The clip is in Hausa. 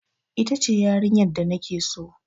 Ita ce yarinyar da na ke so.